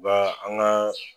Ba an ga